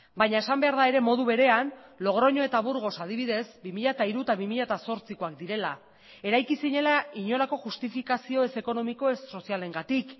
baina esan behar da ere modu berean logroño eta burgos adibidez bi mila hiru eta bi mila zortzikoak direla eraiki zirela inolako justifikazio ez ekonomiko ez sozialengatik